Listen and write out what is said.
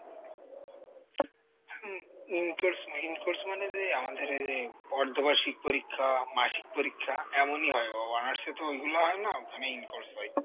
Um in course না in course মানে যে আমাদের ওইযে বর্ধবার্সিক পরীক্ষা মাসিক পরীক্ষা এমনই হয় ও honors এ তো ওইগুলো হয় না মানে in course হয়।